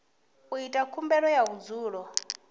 u ita khumbelo ya vhudzulo